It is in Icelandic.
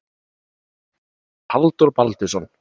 Kortið er eftir Halldór Baldursson.